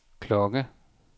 klokke